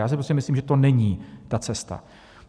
Já si prostě myslím, že to není ta cesta.